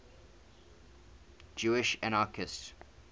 jewish anarchists